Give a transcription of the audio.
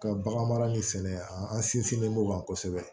Ka bagan mara nin sɛnɛ an sinsinlen don kosɛbɛ